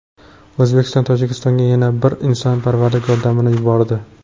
O‘zbekiston Tojikistonga yana bir insonparvarlik yordamini yubordi.